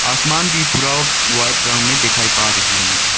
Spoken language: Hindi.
आसमान भी पूरा वाइट ब्राउन में दिखाई पा रही है मुझे।